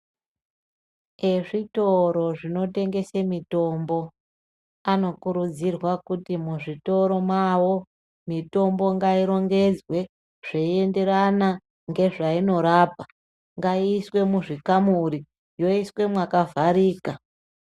Ezvitoro zvinotengese mitombo anokurudzirwa kuti muzvitoro mwawo , mitombo ngairongedzwe zveienderana ngezvainorapa .Ngaaiiswe muzvikamuri yoiswe mwakavharika .